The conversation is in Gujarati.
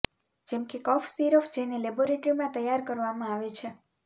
જેમ કે કફ સિરપ જેને લેબોરેટરીમાં તૈયાર કરવામાં આવે છે